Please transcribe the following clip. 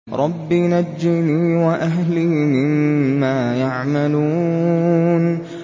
رَبِّ نَجِّنِي وَأَهْلِي مِمَّا يَعْمَلُونَ